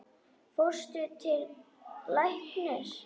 Fórstu til læknis?